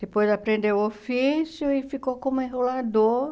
Depois aprendeu o ofício e ficou como enrolador.